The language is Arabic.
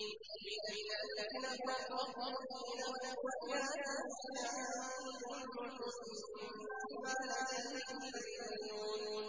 مِنَ الَّذِينَ فَرَّقُوا دِينَهُمْ وَكَانُوا شِيَعًا ۖ كُلُّ حِزْبٍ بِمَا لَدَيْهِمْ فَرِحُونَ